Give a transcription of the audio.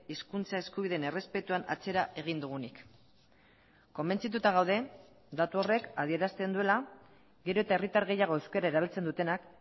hizkuntza eskubideen errespetuan atzera egin dugunik konbentzituta gaude datu horrek adierazten duela gero eta herritar gehiago euskara erabiltzen dutenak